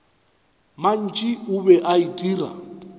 mantši o be a itira